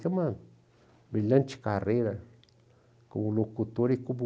Tem uma brilhante carreira como locutor e como...